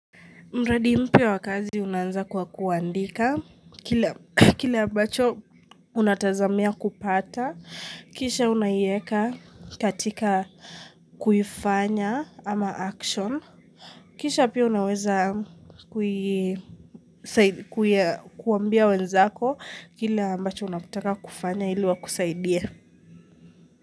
Mradi mpya wa kazi unanza kwa kuandika. Kile ambacho unatazamia kupata. Kisha unaiyeka katika kuifanya ama action. Kisha pia unaweza kuambia wenzako. Kile mbacho unakutaka kufanya ili wakusaidie.